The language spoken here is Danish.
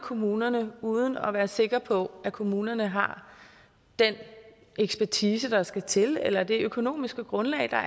kommunerne uden at være sikker på at kommunerne har den ekspertise der skal til eller det økonomiske grundlag der